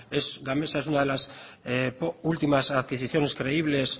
gamesa es una de las últimas adquisiciones creíbles